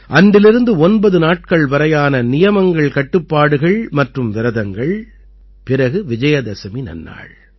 அன்றிலிருந்து ஒன்பது நாட்கள் வரையான நியமங்கள்கட்டுப்பாடுகள் மற்றும் விரதங்கள் பிறகு விஜயதசமி நன்னாள்